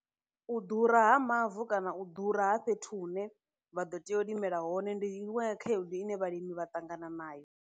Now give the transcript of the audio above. U ḓura ha mavu kana u ḓura ha fhethu hune vha ḓo tea u limela hone ndi inwe ya khaedu ine vhalimi vha ṱangana nayo.